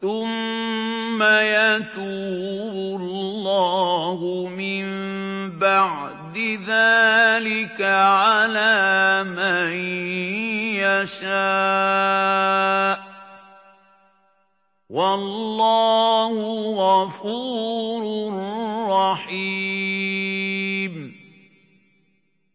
ثُمَّ يَتُوبُ اللَّهُ مِن بَعْدِ ذَٰلِكَ عَلَىٰ مَن يَشَاءُ ۗ وَاللَّهُ غَفُورٌ رَّحِيمٌ